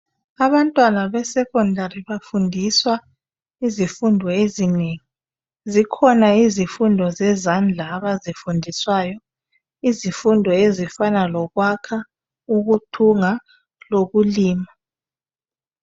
Abantwana besecondary bafundiswa izifundo ezinengi. Zikhona izifundo zezandla abazifundiswayo. Izifundo ezifana lokwakha, ukuthunga lokulima.